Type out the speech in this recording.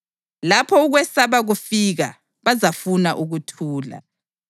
Lapho ukwesaba kufika, bazafuna ukuthula.